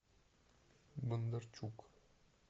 бондарчук